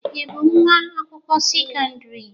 Ị bụ nwa akwụkwọ sekọndrị?